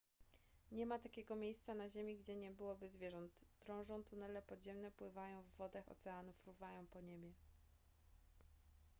nie ma takiego miejsca na ziemi gdzie nie byłoby zwierząt drążą tunele podziemne pływają w wodach oceanów fruwają po niebie